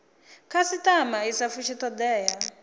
khasitama i sa fushi thodea